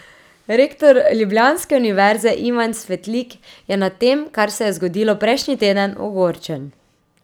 Rektor ljubljanske univerze Ivan Svetlik je nad tem, kar se je zgodilo prejšnji teden, ogorčen.